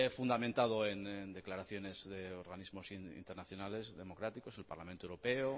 fundamentado en declaraciones de organismos internacionales democráticos el parlamento europeo